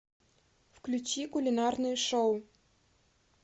включи кулинарное шоу